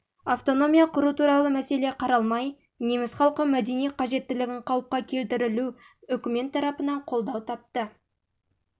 автономия құру туралы мәселе қаралмай неміс халқы мәдени қажеттілігін қалыпқа келтірілу үкімет тарапынан қолдау тапты